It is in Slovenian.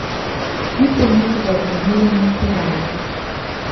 Kljub temu so ga vklenili in odpeljali.